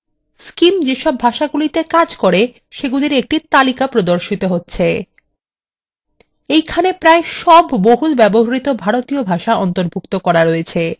scim যেসব ভাষাগুলিতে কাজ করতে পারে সেগুলির একটি তালিকা প্রদর্শন হচ্ছে